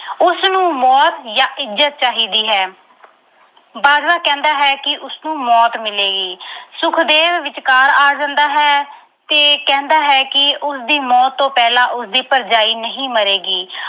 ਉਸਨੂੰ ਮੌਤ ਜਾਂ ਇੱਜਤ ਚਾਹੀਦੀ ਹੈ। ਬਾਜਵਾ ਕਹਿੰਦਾ ਹੈ ਕਿ ਉਸਨੂੰ ਮੌਤ ਮਿਲੇਗੀ। ਸੁਖਦੇਵ ਵਿਚਕਾਰ ਆ ਜਾਂਦਾ ਹੈ ਤੇ ਕਹਿੰਦਾ ਹੈ ਕਿ ਉਸਦੀ ਮੌਤ ਤੋਂ ਪਹਿਲਾਂ ਉਸਦੀ ਭਰਜਾਣੀ ਨਹੀਂ ਮਰੇਗੀ।